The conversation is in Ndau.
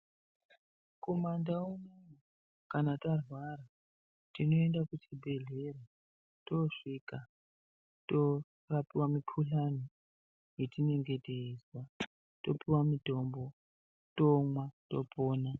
Kuma Ndau, kana tarwara tinoenda kuchibhedhlera, tosvika , torapiwa mukhuhlani yetinenge teizwa, topiwa mutombo, tomwa, topona.